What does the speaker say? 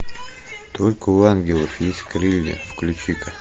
только у ангелов есть крылья включи ка